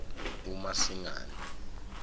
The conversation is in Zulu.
umasingane